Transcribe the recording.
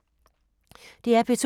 DR P2